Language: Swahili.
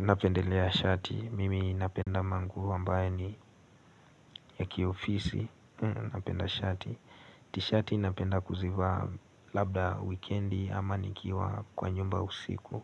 Napendelea shati, mimi napenda manguo ambayo ni ya kiofisi, napenda shati. T-shati napenda kuzivaa labda wikendi ama nikiwa kwa nyumba usiku.